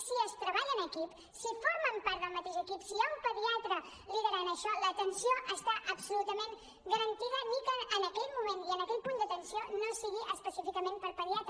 si es treballa en equip si formen part del mateix equip si hi ha un pediatre liderant això l’atenció està absolutament garantida ni que en aquell moment i en aquell punt d’atenció no sigui específicament per pediatre